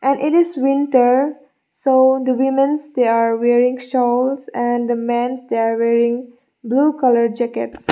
and it is winter so the womens they are wearing shawls and the mens they are wearing blue colour jackets.